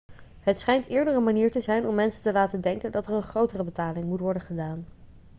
het schijnt eerder een manier te zijn om mensen te laten denken dat er een grotere betaling moet worden gedaan